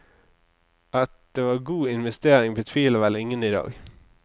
At det var god investering, betviler vel ingen i dag.